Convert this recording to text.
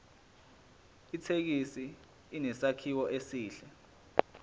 ithekisi inesakhiwo esihle